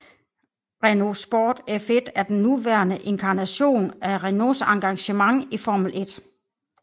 Renault Sport F1 er den nuværende inkarnationen af Renaults engagement i Formel 1